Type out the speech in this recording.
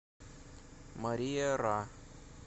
мария ра